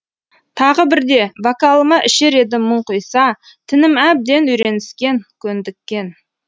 тағы бірде бокалыма ішер едім мұң құйса тінім әбден үйреніскен көндіккен